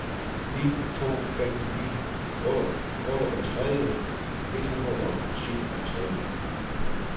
ni to fem ni otteogtredive et hundrede og syvogtredive